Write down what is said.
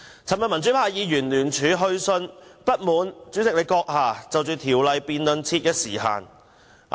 昨天，民主派議員聯署去信主席，表示不滿就《條例草案》辯論設時限。